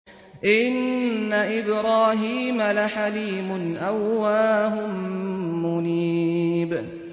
إِنَّ إِبْرَاهِيمَ لَحَلِيمٌ أَوَّاهٌ مُّنِيبٌ